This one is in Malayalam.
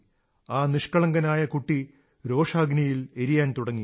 ആ നിഷ്കളങ്കനായ കുട്ടി രോഷാഗ്നിയിൽ എരിയാൻ തുടങ്ങി